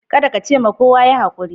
Kadda ka ce ma kowa" Yi hakuri."